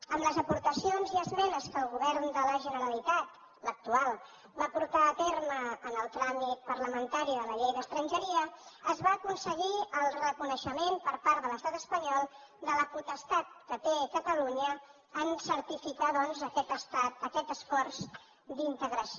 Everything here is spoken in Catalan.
amb les aportacions i esmenes que el govern de la generalitat l’actual va portar a terme en el tràmit parlamentari de la llei d’estrangeria es va aconseguir el reconeixement per part de l’estat espanyol de la potestat que té catalunya en certificar doncs aquest esforç d’integració